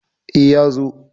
E, ya zo.